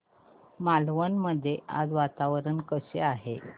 मालवण मध्ये आज वातावरण कसे आहे